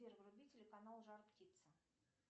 сбер вруби телеканал жар птица